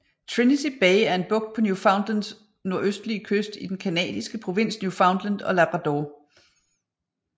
Trinity Bay er en bugt på Newfoundlands nordøstlige kyst i den canadiske provins Newfoundland og Labrador